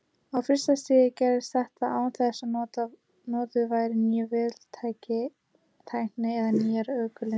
Á fyrsta stigi gerðist þetta án þess að notuð væri ný véltækni eða nýjar orkulindir.